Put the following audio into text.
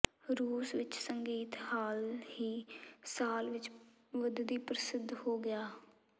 ਰੂਸ ਵਿਚ ਸੰਗੀਤ ਹਾਲ ਹੀ ਸਾਲ ਵਿੱਚ ਵਧਦੀ ਪ੍ਰਸਿੱਧ ਹੋ ਗਿਆ ਹੈ